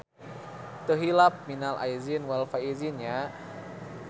Teu hilap minal aidin wal faidzin nya.